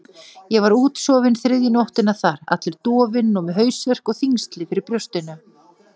Ég var útsofinn þriðju nóttina þar, allur dofinn og með hausverk og þyngsli fyrir brjósti.